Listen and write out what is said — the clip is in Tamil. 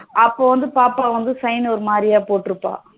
அப்பா வந்து பாப்பா வந்து sign ஒரு மாதிரியா போட்டு இருப்பா